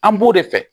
An b'o de fɛ